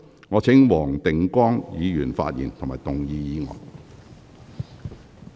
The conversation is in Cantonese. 我請黃定光議員發言及動議議案。